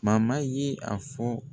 ye a fɔ